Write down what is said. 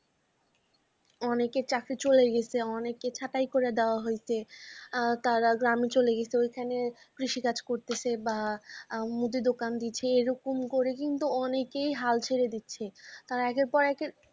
অনেকে চাকরি চলে গেছে অনেককে ছাটাই করে দেওয়া হয়েছে। আ তারা গ্রামে চলে গেছে ঐখানে কৃষিকাজ করতেছে বা মুদি দোকান দিইছে এরকম করে কিন্তু অনেকই হাল ছেড়ে দিচ্ছে। তারা একের পর এক